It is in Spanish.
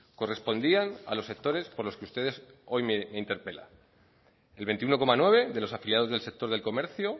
correspondían a los sectores por los que ustedes hoy me interpelan el veintiuno coma nueve de los afiliados del sector del comercio